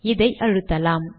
இதை அழுத்தலாம்